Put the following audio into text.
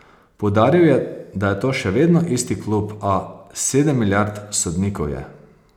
Poudaril je, da je to še vedno isti klub, a: 'Sedem milijard sodnikov je.